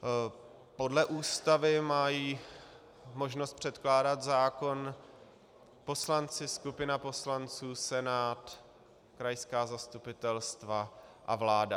Podle Ústavy mají možnost předkládat zákon poslanci, skupina poslanců, Senát, krajská zastupitelstva a vláda.